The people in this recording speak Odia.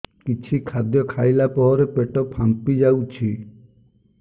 କିଛି ଖାଦ୍ୟ ଖାଇଲା ପରେ ପେଟ ଫାମ୍ପି ଯାଉଛି